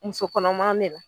Muso kɔnɔma ne la